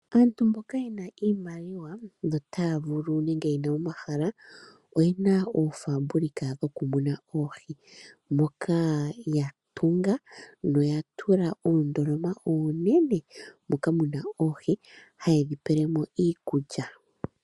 Aantu mboka yena iimaliwa notaya vulu nenge yena omahala oyena oofaabulika dhokumuna oohi . Moka yatunga noya tula oondoloma oonene moka muna oohi haye dhi pele mo iikulya.